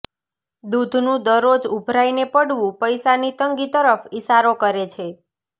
દૂધનું દરરોજ ઊભરાઇને પડવું પૈસાની તંગી તરફ ઇશારો કરે છે